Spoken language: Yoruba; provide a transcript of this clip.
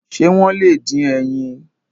Ṣé wọ́n lè dín ẹyin?